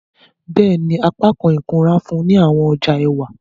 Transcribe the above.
Bẹẹni, apakan ikunra nfunni awọn ọja ẹwa.